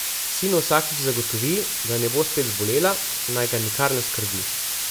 Sinu vsakič zagotovi, da ne bo spet zbolela, naj ga nikar ne skrbi.